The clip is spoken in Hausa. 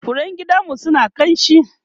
furen gidanmu suna kamshi